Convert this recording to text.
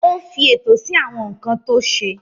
Ó fi ètò sí àwọn nǹkan tó ṣe.